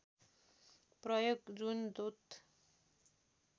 प्रयोग जुन द्रुत